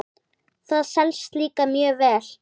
Það selst líka mjög vel.